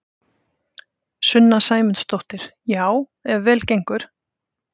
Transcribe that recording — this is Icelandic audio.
Sunna Sæmundsdóttir: Já ef vel gengur?